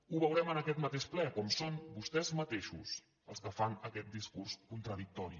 ho veurem en aquest mateix ple com són vostès mateixos els que fan aquest discurs contradictori